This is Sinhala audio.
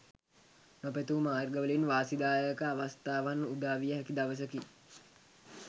නොපැතූ මාර්ගවලින් වාසිදායක අවස්ථාවන් උදාවිය හැකි දවසකි